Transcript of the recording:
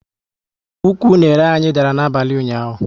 Ụkwụ unere anyị dara n'abalị ụnyaahụ